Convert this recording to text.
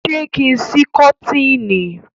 ṣe kín sí koteeni?